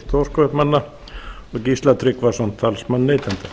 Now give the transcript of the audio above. stórkaupmanna og gísla tryggvason talsmann neytenda